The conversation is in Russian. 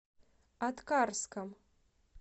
аткарском